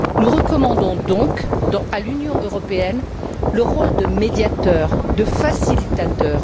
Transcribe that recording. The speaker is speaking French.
Nous recommandons donc à l'Union européenne de jouer le rôle de médiateur, de facilitateur.